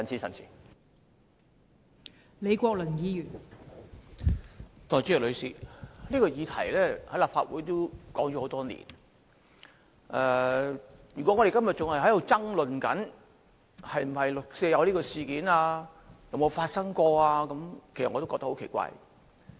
代理主席，此議題在立法會討論多年，如果我們今天還在爭論六四事件曾否發生，我會覺得很奇怪。